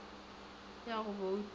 ya go bouta le ya